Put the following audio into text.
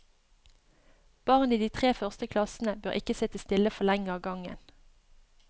Barn i de tre første klassene bør ikke sitte stille for lenge av gangen.